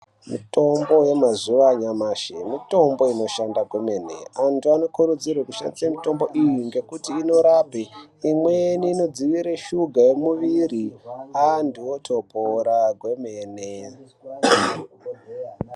Mitombo yemazuva anyamashi mitombo inoshanda kwemene antu anokurudzirwa kushandisa mitombo iyi ngekuti inorapa imweni inodzivirira shuga yemuviri antu otopora kwemene.